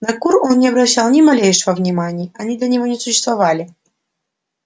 на кур он не обращал ни малейшего внимания они для него не существовали